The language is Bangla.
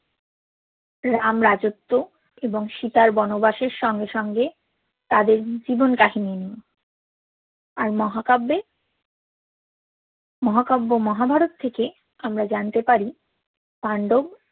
রাম রাজোত্ব এবং সিতার বনবাসের সঙ্গে সঙ্গে তাদের জীবন কাহিনী নিয়ে আর মহাকাব্যএ মহাকাব্য মহাভারত থেকে আমরা জানতে পারি পান্দব